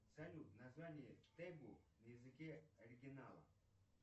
салют название тегу на языке оригинала